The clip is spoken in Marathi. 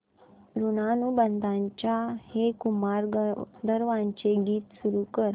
ऋणानुबंधाच्या हे कुमार गंधर्वांचे गीत सुरू कर